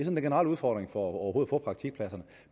den generelle udfordring for overhovedet at få praktikpladserne